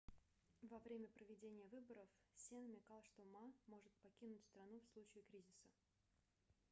во время проведения выборов се намекал что ма может покинуть страну в случае кризиса